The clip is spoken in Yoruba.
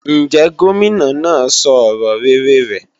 Ǹjẹ́ Gómìnà náà sọ ọ̀rọ̀ rere rẹ̀?